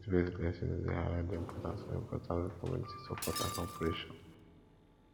faithbased lessons dey highlight the importance of community support and cooperation